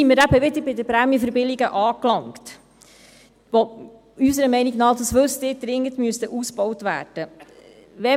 Damit sind wir wieder bei den Prämienverbilligungen angelangt, die unserer Meinung nach, wie Sie wissen, dringend ausgebaut werden müssten.